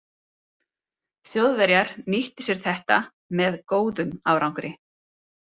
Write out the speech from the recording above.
Þjóðverjar nýttu sér þetta með „góðum“ árangri.